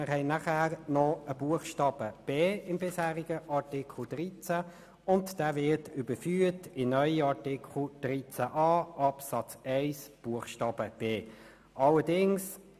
Im bisherigen Artikel 13 gibt es noch einen Buchstaben b. Dieser wird in den neuen Artikel 13a Absatz 1 Buchstabe b überführt.